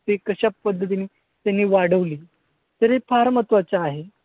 ते कशापद्धतीनं त्यांनी वाढवली. तर हे फार महत्वाचं आहे.